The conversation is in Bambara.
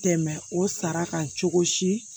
Tɛmɛ o sara kan cogo si